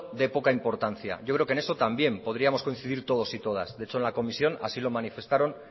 de poca importancia yo creo que en eso también podríamos coincidir todos y todas de hecho en la comisión así lo manifestaron